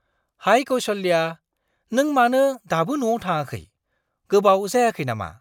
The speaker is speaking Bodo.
हाय कौसल्या, नों मानो दाबो न'आव थाङाखै? गोबाव जायाखै नामा?